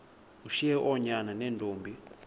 ushiye oonyana neentombi